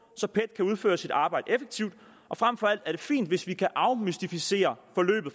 så pet kan udføre sit arbejde effektivt og frem for alt er det fint hvis vi kan afmystificere forløbet